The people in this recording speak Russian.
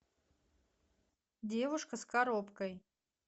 девушка с коробкой